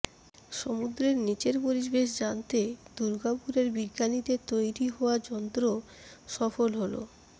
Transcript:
সমু্দ্রের নীচের পরিবেশ জানতে দুর্গাপুরের বিজ্ঞানীদের তৈরী হওয়া যন্ত্র সফল হল